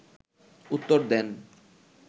উত্তর দেন